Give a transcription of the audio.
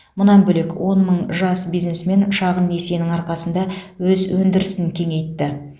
мұнан бөлек он мың жас бизнесмен шағын несиенің арқасында өз өндірісін кеңейтті